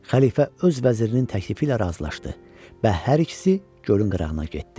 Xəlifə öz vəzirinin təklifi ilə razılaşdı və hər ikisi gölün qırağına getdi.